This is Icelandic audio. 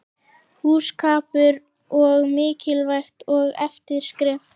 Hjúskapur er mikilvægt og erfitt skref.